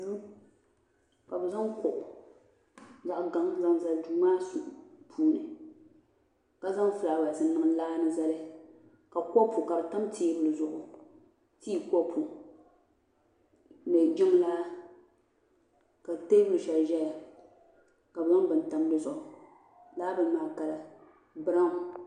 duu ka bi zaŋ kuɣu zaŋ gaŋa n zaŋ zali duu maa puuni ka zaŋ fulaawɛs n niŋ laa ni zali ka kɔpu ka di tam teebuli zuɣu tii kɔpu ni jiŋlaa ka teebuli shɛli ʒɛya ka bi zaŋ bini tam dizuɣu laa bini maa biraawn